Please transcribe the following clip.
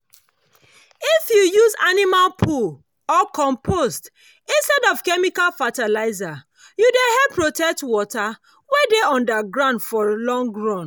if you use animal poo or compost instead of chemical fertilizer you dey help protect water wey dey under ground for long run